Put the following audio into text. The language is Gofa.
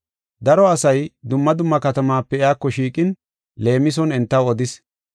Daro asay dumma dumma katamaape iyako shiiqin leemison entaw odis.